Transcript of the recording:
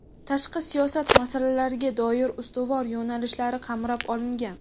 tashqi siyosat masalalariga doir ustuvor yo‘nalishlari qamrab olingan.